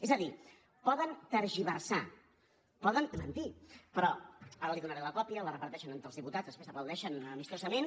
és a dir poden tergiversar poden mentir però ara li donaré la còpia la reparteixen entre els diputats després aplaudeixen amistosament